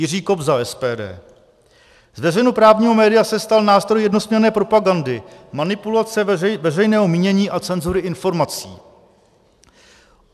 Jiří Kobza, SPD: Z veřejnoprávního média se stal nástroj jednosměrné propagandy, manipulace veřejného mínění a cenzury informací.